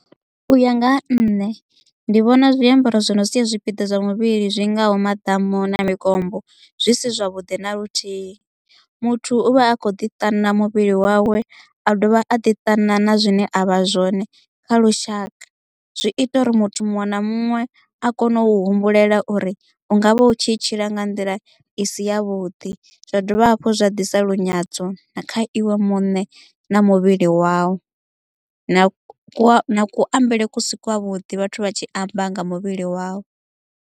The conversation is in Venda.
U ya nga ha nṋe ndi vhona zwiambaro zwi no sia zwipiḓa zwa muvhili zwingaho maḓamu na mikombo zwi si zwavhuḓi na luthihi muthu uvha a kho ḓi ṱana muvhili wawe a dovha a ḓiṱana na zwine avha zwone kha lushaka zwi ita uri muthu muṅwe na muṅwe a kone u humbulela uri ungavha u tshi tshila nga nḓila i si ya vhuḓi zwa dovha hafhu zwa ḓisa lunyadzo na kha iwe muṋe na muvhili wawe na kuambele kusi kwavhuḓi vhathu vha tshi amba nga muvhili wau.